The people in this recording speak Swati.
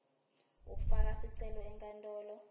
ufaka sicelo enkantolo